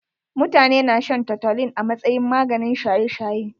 Mutane na shan toutolin a masayin maganin shaye shaye.